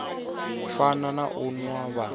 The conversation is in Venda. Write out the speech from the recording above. fana na u nwa vha